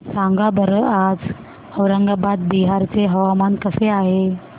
सांगा बरं आज औरंगाबाद बिहार चे हवामान कसे आहे